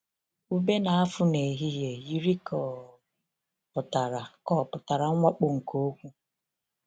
‘Ube na-afụ n’ehihie’ yiri ka ọ pụtara ka ọ pụtara mwakpo nke okwu.